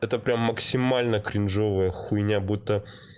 это прямо максимально кринжовая хуйня будто